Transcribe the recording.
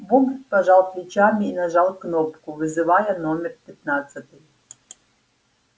богерт пожал плечами и нажал кнопку вызывая номер пятнадцатый